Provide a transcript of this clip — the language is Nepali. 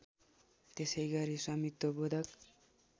त्यसैगरी स्वामित्व बोधक